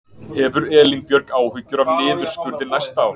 Hefur Elín Björg áhyggjur af niðurskurði næsta árs?